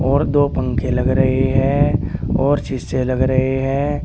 और दो पंखे लग रही है और शीशे से लग रहे हैं।